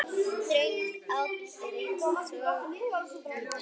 Þröngur áll er aðeins þíður.